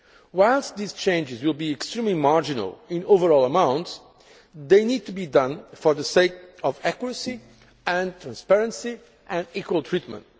Whilst these changes will be extremely marginal in overall amounts, they need to be done for the sake of accuracy and transparency and equal treatment.